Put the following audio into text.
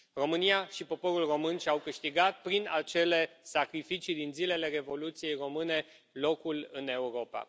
România și poporul român și au câștigat, prin acele sacrificii din zilele Revoluției române, locul în Europa.